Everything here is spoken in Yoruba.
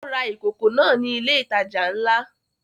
Ó ra ìkòkò náà ní ilé ìtajà ńlá